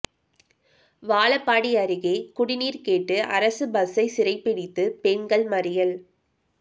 வாழப்பாடி அருகே குடிநீர் கேட்டு அரசு பஸ்சை சிறைபிடித்து பெண்கள் மறியல்